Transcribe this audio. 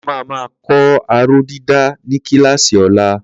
A máa máa kọ́ aróh dídà ní kíláàsì lọ́la.